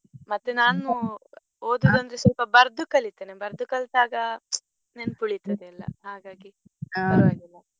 ಮತ್ತೆ ನಾನು ಓದುದಂದ್ರೆ ಸ್ವಲ್ಪ ಬರ್ದು ಕಲಿತೆನೆ ಬರ್ದು ಕಲ್ತಾಗ ನೆನ್ಪ್ ಉಳಿತದೆಯೆಲ್ಲ ಹಾಗಾಗಿ ಪರ್ವಾಗಿಲ್ಲ.